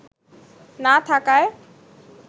না থাকায়